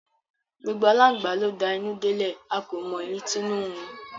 Gbogbo alangba lo d'anu delẹ, a ko mo eyi t'inu nrun